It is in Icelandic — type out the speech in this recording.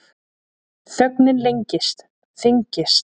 Þögnin lengist, þyngist.